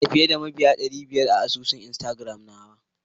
Ina da fiyeda mabiya dary biyar a asusun instagram nafarko nawa.